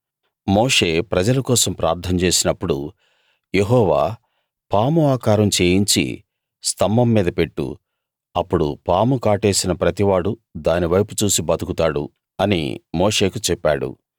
మోషే ప్రజల కోసం ప్రార్థన చేసినప్పుడు యెహోవా పాము ఆకారం చేయించి స్థంభం మీద పెట్టు అప్పుడు పాము కాటేసిన ప్రతి వాడు దానివైపు చూసి బతుకుతాడు అని మోషేకు చెప్పాడు